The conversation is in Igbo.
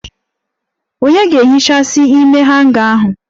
Onye ga-ehichasi ime hanga ahụ?